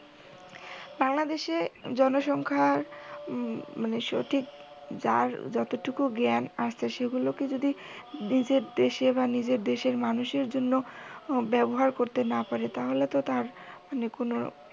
বাংলাদেশে জনসংখ্যা মানে সঠিক যার যতটুকু জ্ঞান আছে সেগুলকে যদি নিজের দেশে বা নিজের দেশের মানুষের জন্য ব্যাবহার করতে না পারে তাহলে তো তার মানে কোনও